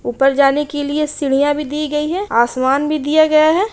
ऊपर जाने के लिए साँढ़िया भी दी गई है आसमान भी दिया गया है।